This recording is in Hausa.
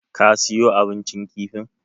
Ka siyo abincin kifin?